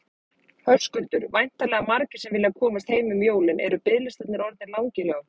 Höskuldur: Væntanlega margir sem vilja komast heim um jólin, eru biðlistarnir orðnir langir hjá ykkur?